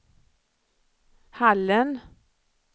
Hallen